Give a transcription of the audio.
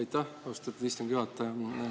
Aitäh, austatud istungi juhataja!